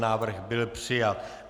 Návrh byl přijat.